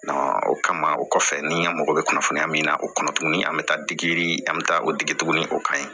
o kama o kɔfɛ ni an mago bɛ kunnafoniya min na o kɔnɔ tuguni an bi taa digi an mi taa o digi tuguni o kan ɲi